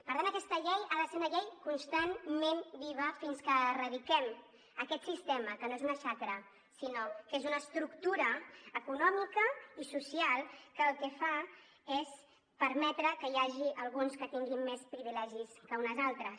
per tant aquesta llei ha de ser una llei constantment viva fins que erradiquem aquest sistema que no és una xacra sinó que és una estructura econòmica i social que el que fa és permetre que n’hi hagi alguns que tinguin més privilegis que unes altres